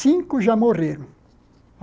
Cinco já morreram.